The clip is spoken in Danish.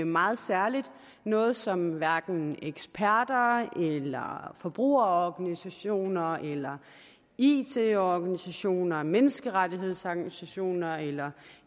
meget særligt noget som hverken eksperter eller forbrugerorganisationer eller it organisationer eller menneskerettighedsorganisationer eller